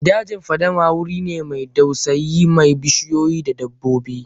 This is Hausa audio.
Dajin fadama wuri ne mai dausayi mai bishiyoyi da dabbobi.